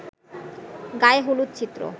গায়ে হলুদ চিত্র